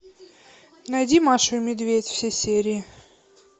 найди машу и медведь все серии